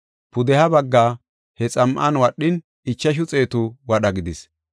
Pudeha baggaa he xam7an wadhin, ichashu xeetu wadha gidis.